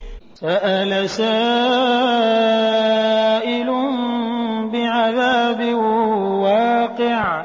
سَأَلَ سَائِلٌ بِعَذَابٍ وَاقِعٍ